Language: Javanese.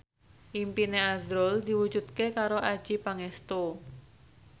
impine azrul diwujudke karo Adjie Pangestu